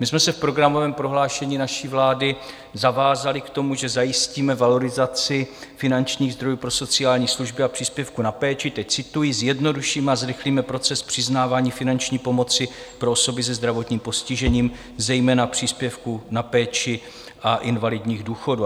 My jsme se v programovém prohlášení naší vlády zavázali k tomu, že zajistíme valorizaci finančních zdrojů pro sociální služby a příspěvku na péči, teď cituji: "Zjednodušíme a zrychlíme proces přiznávání finanční pomoci pro osoby se zdravotním postižením, zejména příspěvku na péči a invalidních důchodů".